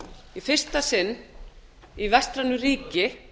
í fyrsta sinn í vestrænu ríki